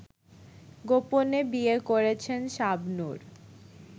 গোপনে বিয়ে করেছেন শাবনূর